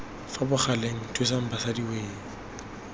fa bogaleng thusang basadi wee